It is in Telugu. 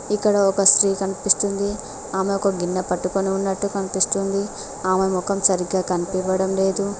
ఇక్కడ ఒక స్త్రీ కనిపిస్తుంది ఆమె ఒక గిన్నె పట్టుకుని ఉన్నట్టు కనిపిస్తుంది ఆమె మొఖం సరిగ్గా కనిపివ్వడం లేదు.